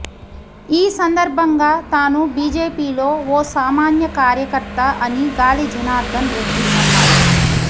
ఈ సందర్భంగా తాను బీజేపీలో ఓ సామాన్య కార్యకర్త అని గాలి జనార్దన్ రెడ్డి అన్నారు